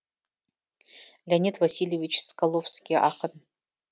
леонид васильевич скалковский ақын